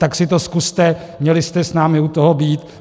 Tak si to zkuste, měli jste s námi u toho být!